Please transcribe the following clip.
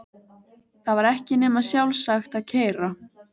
Það var ekki nema sjálfsagt að keyra